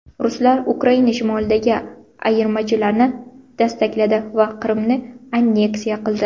Ruslar Ukraina shimolidagi ayirmachilarni dastakladi va Qrimni anneksiya qildi.